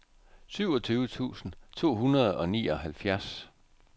syvogtyve tusind to hundrede og nioghalvfjerds